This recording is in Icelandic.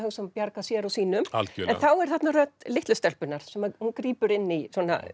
bjarga sér og sínum en þá er þarna rödd litlu stelpunnar hún grípur inn í